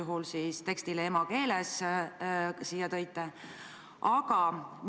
Mida see 21 000 endas sisaldab?